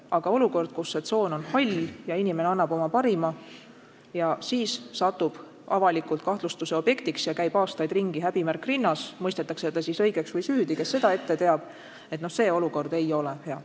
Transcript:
Aga olukord, kus see tsoon on hall ja inimene annab oma parima, ent siis satub avalikult kahtlustuse objektiks ja käib aastaid ringi, häbimärk rinnas, mõistetakse ta siis õigeks või süüdi, kes seda ette teab – selline olukord ei ole hea.